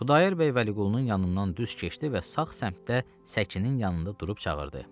Xudayar bəy Vəliqulunun yanından düz keçdi və sağ səmtdə səkinin yanında durub çağırdı: